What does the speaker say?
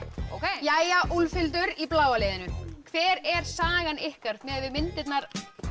jæja Úlfhildur í bláa liðinu hver er sagan ykkar miðað við myndirnar